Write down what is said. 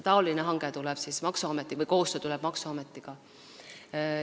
Selline koostöö tuleb maksuametiga.